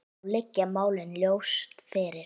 Þá liggja málin ljóst fyrir.